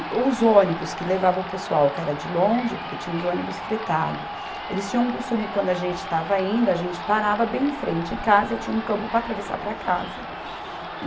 Os ônibus que levavam o pessoal que era de longe, porque tinham os ônibus fretados, eles tinham um costume quando a gente estava indo, a gente parava bem em frente à casa, tinha um campo para atravessar para casa. E